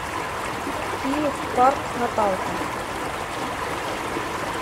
киев парк наталка